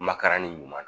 Makarani ɲuman na